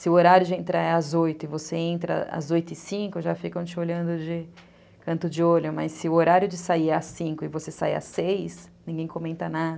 Se o horário de entrar é às oito e você entra às oito e cinco, já ficam te olhando de canto de olho, mas se o horário de sair é às cinco e você sai às seis, ninguém comenta nada.